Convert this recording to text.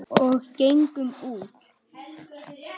Og gengum út.